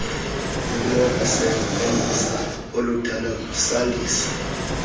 kunokusebenzisa oludala kusandiswa